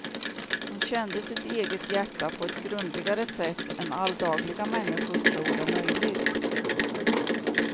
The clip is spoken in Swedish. Hon kände sitt eget hjärta på ett grundligare sätt än alldagliga människor tror är möjligt.